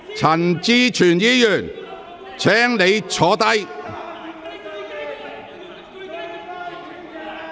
陳志全議員，請你坐下。